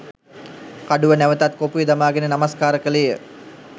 කඩුව නැවතත් කොපුවේ දමාගෙන නමස්කාර කළේය.